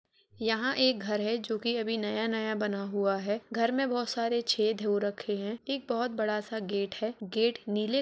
यहाँ एक घर है जो कि अभी नया- नया बना हुआ है। घर में बोहोत सारे छेद हो रखे हैं एक बोहोत बड़ा सा गेट है। गेट नीले --